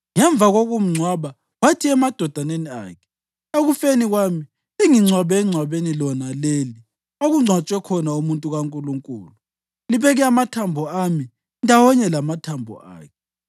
Ngemva kokumngcwaba, wathi emadodaneni akhe, “Ekufeni kwami, lingingcwabe engcwabeni lona leli okungcwatshwe khona umuntu kaNkulunkulu; libeke amathambo ami ndawonye lamathambo akhe.